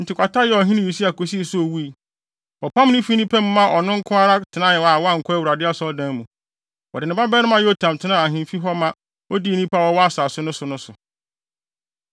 Enti kwata yɛɛ ɔhene Usia kosii sɛ owui. Wɔpam no fi nnipa mu maa ɔno nko ara tenae a wankɔ Awurade Asɔredan mu. Wɔde ne babarima Yotam tenaa ahemfi hɔ ma odii nnipa a wɔwɔ asase no so no so.